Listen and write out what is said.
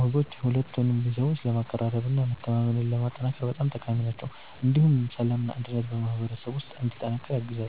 ወጎች ሁለቱን ቤተሰቦች ለማቀራረብ እና መተማመንን ለማጠናከር በጣም ጠቃሚ ናቸው። እንዲሁም ሰላምና አንድነት በማህበረሰቡ ውስጥ እንዲጠናከር ያግዛሉ።